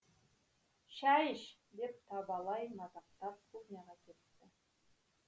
шай іш деп табалай мазақтап кухняға